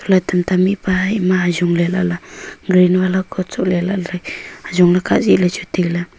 la tamta mipa ima ajongle lala green vala coat sohle lahle ajongle kaa zaile chu taile.